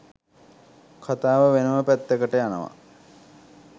කතාව වෙනම පැත්තකට යනවා.